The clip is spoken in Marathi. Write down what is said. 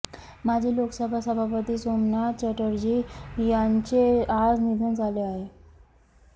माजी लोकसभा सभापती सोमनाथ चॅटर्जी यांचे आज निधन झाले आहे